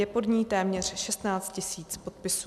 Je pod ní téměř 16 000 podpisů.